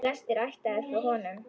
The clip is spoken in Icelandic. Flestir ættaðir frá honum.